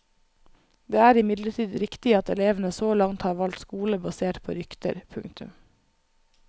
Det er imidlertid riktig at elevene så langt har valgt skole basert på rykter. punktum